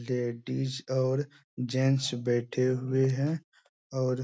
ladies और gents बैठे हुए हैं और --